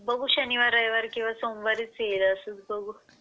बघू शनिवार रविवार किंवा सोमवारी येईल बघू.